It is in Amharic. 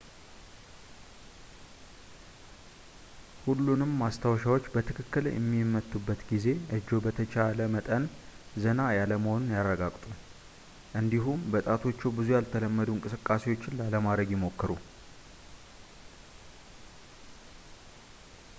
ሁሉንም ማስታወሻዎች በትክክል በሚመቱበት ጊዜ እጅዎ በተቻለ መጠን ዘና ያለ መሆኑን ያረጋግጡ እንዲሁም በጣቶችዎ ብዙ ያልተለመዱ እንቅስቃሴዎችን ላለማድረግ ይሞክሩ